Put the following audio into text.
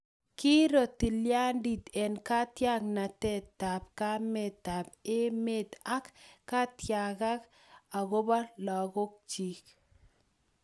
Kiiro tilyandit eng katiaknatetab kametab emet ak ketiakak akobo lagokchi